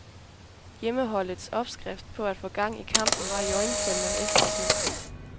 Hjemmeholdets opskrift på at få gang i kampen var iøjnefaldende og effektiv.